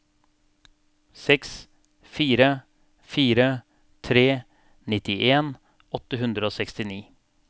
seks fire fire tre nittien åtte hundre og sekstini